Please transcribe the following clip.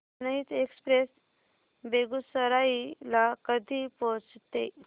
जनहित एक्सप्रेस बेगूसराई ला कधी पोहचते